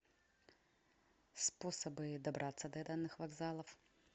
способы добраться до данных вокзалов